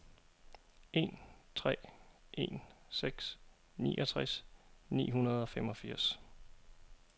en tre en seks niogtres ni hundrede og femogfirs